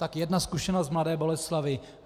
Tak jedna zkušenost z Mladé Boleslavi.